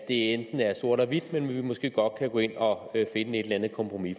enten er sort eller hvidt men at vi måske godt kan gå ind og finde et eller andet kompromis